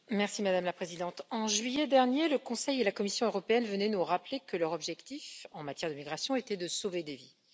Madame la Présidente, en juillet dernier, le Conseil et la Commission européenne venaient nous rappeler que leur objectif en matière d'immigration était de sauver des vies.